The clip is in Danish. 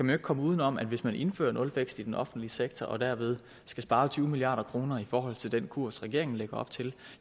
kan komme uden om at hvis man indfører nulvækst i den offentlige sektor og derved skal spare tyve milliard kroner i forhold til den kurs regeringen lægger op til